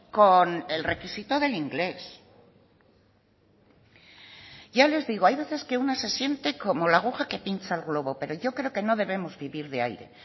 con el requisito del inglés ya les digo hay veces que una se siente como la aguja que pincha el globo pero yo creo que no debemos vivir de aire